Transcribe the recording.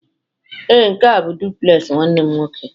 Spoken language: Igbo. ee, nke a bụ duplex nwanne m nwoke